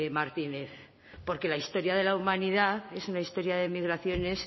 martínez porque la historia de la humanidad es una historia de migraciones